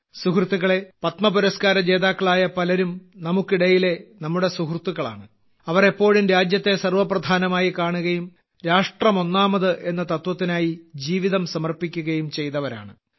സുഹൃത്തുക്കളേ പത്മപുരസ്കാരജേതാക്കളായ പലരും നമുക്കിടയിലെ നമ്മുടെ സുഹൃത്തുക്കളാണ് അവർ എപ്പോഴും രാജ്യത്തെ സർവ്വപ്രധാനമായി കാണുകയും രാഷ്ട്രം ഒന്നാമത് എന്ന തത്വത്തിനായി ജീവിതം സമർപ്പിക്കുകയും ചെയ്തവരാണ്